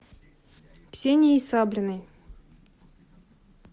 ксенией саблиной